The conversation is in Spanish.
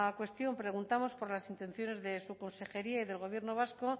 cuestión preguntamos por las intenciones de su consejería y del gobierno vasco